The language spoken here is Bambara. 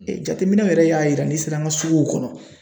Jateminɛw yɛrɛ y'a yira n'i sera an ka suguw kɔnɔ